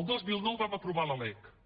el dos mil nou vam aprovar la lec el